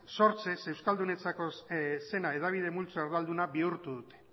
sortzez euskaldunentzako zena hedabide multzoa erdalduna bihurtu dute